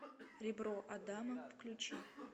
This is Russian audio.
ребро адама включи